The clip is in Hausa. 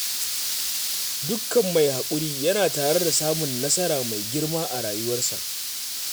Dukkan mai haƙuri yana tare da samun nasara mai girma a rayuwarsa